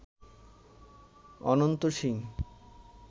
Ananta Singh